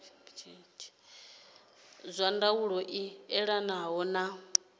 zwa ndaulo i elanaho na